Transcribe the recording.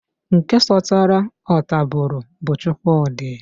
Nke sọtara ọtabụrụ bu Chukwudi.